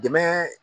Dɛmɛ